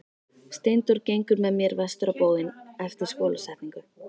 Steindór gengur með mér vestur á bóginn eftir skólasetningu.